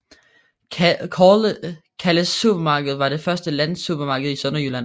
Calles Supermarked var det første landsupermarked i Sønderjylland